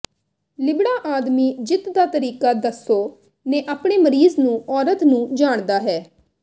ਲਿਬੜਾ ਆਦਮੀ ਜਿੱਤ ਦਾ ਤਰੀਕਾ ਦੱਸੋ ਨੇ ਆਪਣੇ ਮਰੀਜ਼ ਨੂੰ ਔਰਤ ਨੂੰ ਜਾਣਦਾ ਹੈ